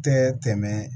Tɛ tɛmɛ